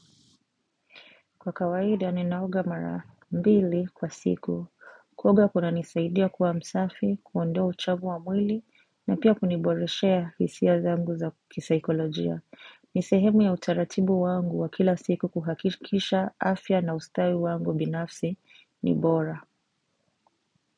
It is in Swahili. Kwa kawaida ninaoga mara mbili kwa siku kuoga kunanisaidia kuwa msafi kuondoa uchovu wa mwili na pia kuniboreshea hisia zangu za kisaikolojia ni sehemu ya utaratibu wangu wa kila siku kuhakikisha afya na ustawi wangu binafsi ni bora.